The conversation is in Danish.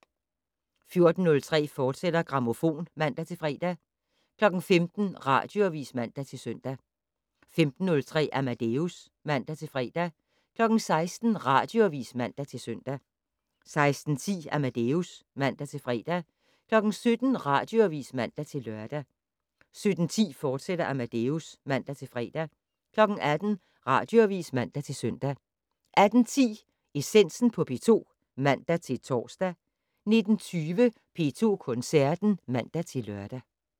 14:03: Grammofon, fortsat (man-fre) 15:00: Radioavis (man-søn) 15:03: Amadeus (man-fre) 16:00: Radioavis (man-søn) 16:10: Amadeus (man-fre) 17:00: Radioavis (man-lør) 17:10: Amadeus, fortsat (man-fre) 18:00: Radioavis (man-søn) 18:10: Essensen på P2 (man-tor) 19:20: P2 Koncerten (man-lør)